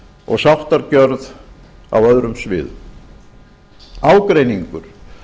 og sáttargjörð á öðrum sviðum ágreiningur